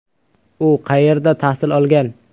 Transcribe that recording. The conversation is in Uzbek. U qayerda tahsil olgan?